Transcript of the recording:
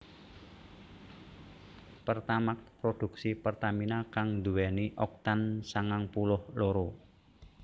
Pertamax produksi Pertamina kang nduwèni Oktan sangang puluh loro